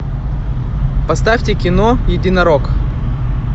поставьте кино единорог